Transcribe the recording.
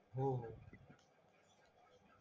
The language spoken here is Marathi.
होहो